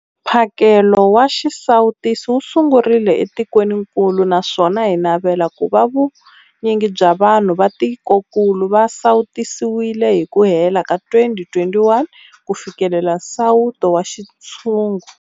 Mphakelo wa xisawutisi wu sungurile etikwenikulu naswona hi navela ku va vu nyingi bya vanhu va tikokulu va sawutisiwile hi ku hela ka 2021 ku fikelela nsawuto wa xintshungu.